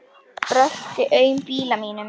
Brölti aum bíla millum.